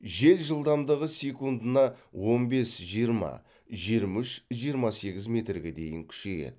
жел жылдамдығы секундына он бес жиырма жиырма үш жиырма сегіз метрге дейін күшейеді